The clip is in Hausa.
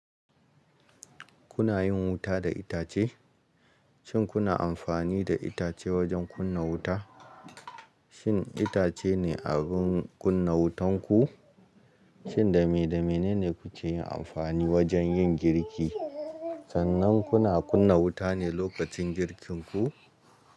Kuna yin wuta da itace? Shin kuna amfani da itace wajen kunna wuta? Shin itace ne abin kunna wutan ku? Shin dame damene ne kuke yin amfani wajen yin girki? Sannan kuna kunna wuta ne lokacin girkin ku?